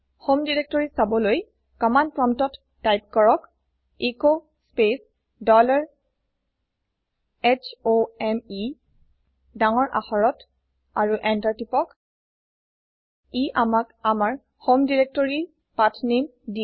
home directory চাবলৈ command প্ৰম্পটত type কৰক s space dollar h o m e ডাঙৰ আখৰত আৰু এন্টাৰ টিপক ই আমাক আমাৰ হোম directoryৰ পাঠনামে দিয়ে